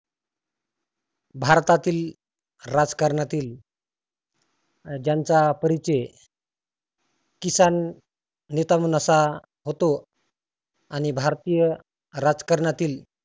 भारतातील राजकारणातील ज्यांचा परीचय किसान नेता म्हणून असा होतो. आणि भारतीय राजकारणातील